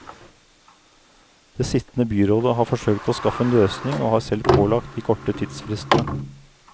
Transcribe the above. Det sittende byrådet har forsøkt å skaffe en løsning, og har selv pålagt de korte tidsfristene.